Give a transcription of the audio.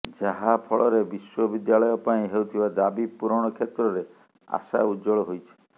ଯାହା ଫଳରେ ବିଶ୍ୱବିଦ୍ୟାଳୟ ପାଇଁ ହେଉଥିବା ଦାବି ପୂରଣ କ୍ଷେତ୍ରରେ ଆଶା ଉଜ୍ୱଳ ହୋଇଛି